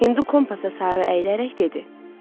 Hindu kompasa sarı əyilərək dedi: